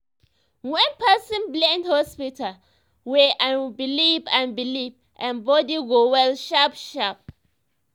when person blend hospital way and belief and belief em body go well sharp sharp